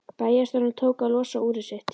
Bæjarstjórinn tók að losa úrið sitt.